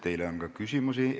Teile on ka küsimusi.